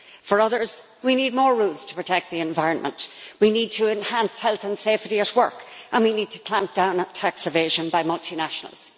for others, we need more rules to protect the environment. We need to enhance health and safety at work, and we need to clamp down on tax evasion by multinationals.